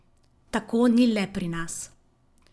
Tako ni le pri nas.